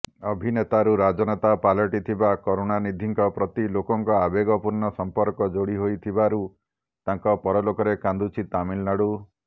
ଅଭିନେତାରୁ ରାଜନେତା ପାଲଟିଥିବା କରୁଣାନିଧିଙ୍କ ପ୍ରତି ଲୋକଙ୍କ ଆବେଗପୂର୍ଣ୍ଣ ସମ୍ପର୍କ ଯୋଡି ହୋଇଥିବାରୁ ତାଙ୍କ ପରଲୋକରେ କାନ୍ଦୁଛି ତାମିଲନାଡୁ